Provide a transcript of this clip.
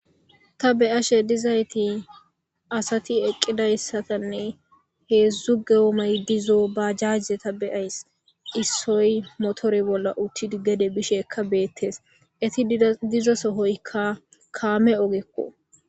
Ta beyashe dizayti asati eqqidayssatanne heedzdzu geomay dizo ba jajje ta beyays issoy motore bolla uttid gede bisheekka beettes eti dizo sohoykka kaame ogekko